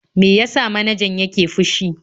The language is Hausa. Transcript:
Me ya sa manajan yake fushi?